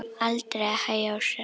Aldrei að hægja á sér.